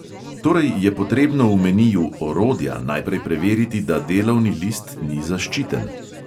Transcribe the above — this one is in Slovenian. Torej je potrebno v meniju orodja najprej preveriti, da delovni list ni zaščiten.